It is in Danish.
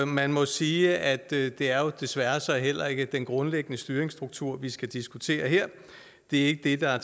man må jo sige at det desværre så heller ikke er den grundlæggende styringsstruktur vi skal diskutere her det er ikke det der er